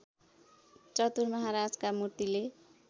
चतुर महाराजका मूर्तिले